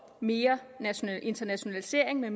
mere internationalisering i